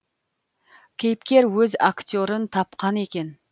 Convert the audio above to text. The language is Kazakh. кейіпкер өз актерін тапқан екен